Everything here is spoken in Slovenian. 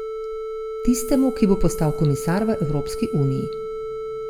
Tistemu, ki bo postal komisar v Evropski uniji.